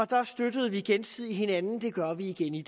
da støttede vi gensidigt hinanden det gør vi igen i